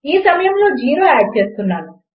ఈ సమయములో నేను జీరో ఆడ్ చేస్తున్నాను